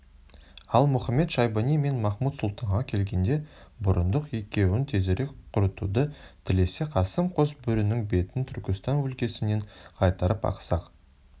ал мұхамед-шайбани мен махмуд-сұлтанға келгенде бұрындық екеуін тезірек құртуды тілесе қасым қос бөрінің бетін түркістан өлкесінен қайтарып ақсақ